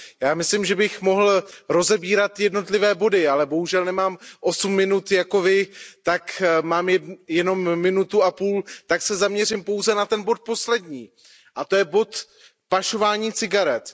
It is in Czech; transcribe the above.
Já myslím, že bych mohl rozebírat jednotlivé body, ale bohužel nemám 8 min jako Vy, mám jen 1,5 minuty, tak se zaměřím pouze na ten bod poslední, a to je bod pašování cigaret.